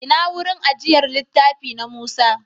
Ina wurin ajiyar littafi, na Musa?